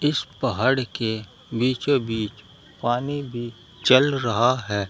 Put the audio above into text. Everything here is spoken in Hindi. इस पहाड़ के बीचो बीच पानी भी चल रहा है।